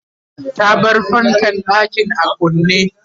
ta bar fankan ɗakin a kunne